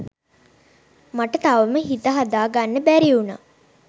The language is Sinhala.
මට තවම හිත හදාගන්න බැරිඋනා